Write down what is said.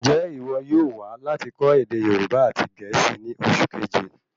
Njẹ iwọ yóò wá láti kọ́ ède Yorùbá àti gẹ̀ẹ́sì ní oṣù keje?